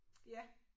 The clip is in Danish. Ja